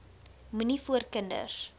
moenie voor kinders